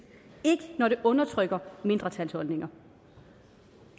ikke når det undertrykker mindretalsholdninger